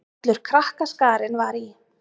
Allur krakkaskarinn var í